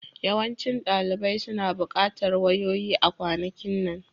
Yawancin ɗalibai suna buƙatar wayoyi a kwanakin nan